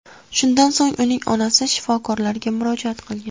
Shundan so‘ng uning onasi shifokorlarga murojaat qilgan.